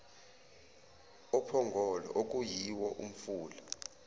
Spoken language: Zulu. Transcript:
ophongolo okuyiwo umfula